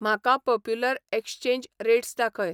म्हाका popular exchange rates दाखय